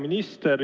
Hea minister!